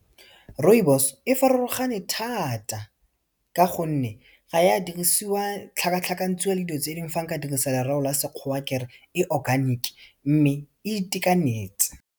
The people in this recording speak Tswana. Rooibos e farologane thata, ka gonne ga e a dirisiwa, tlhakatlhakantshiwa le dilo tse dingwe, fa nka dirisa lereo la Sekgowa kere e organic, mme e itekanetse.